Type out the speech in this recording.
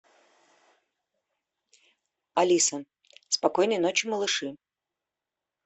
алиса спокойной ночи малыши